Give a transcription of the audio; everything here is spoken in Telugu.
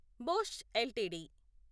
Bosch LTD